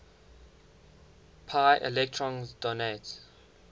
pi electrons donate